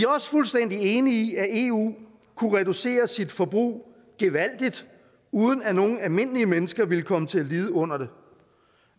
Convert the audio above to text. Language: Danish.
også fuldstændig enige i at eu kunne reducere sit forbrug gevaldigt uden at nogle almindelige mennesker ville komme til at lide under det